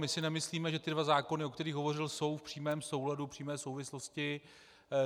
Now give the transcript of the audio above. My si nemyslíme, že tyto dva zákony, o kterých hovořil, jsou v přímém souladu, přímé souvislosti.